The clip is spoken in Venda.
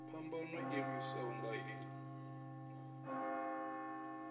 phambano i ḓiswaho nga hei